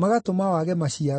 magatũma wage maciaro.